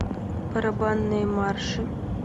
барабанные марши